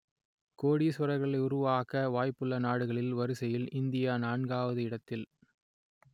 கோடீசுவரர்களை உருவாக்க வாய்ப்புள்ள நாடுகள் வரிசையில் இந்தியா நான்காவது இடத்தில்